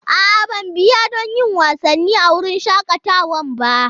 A'a, ban biya don yin wasanni a wurin shakatawan ba.